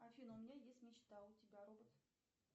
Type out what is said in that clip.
афина у меня есть мечта а у тебя робот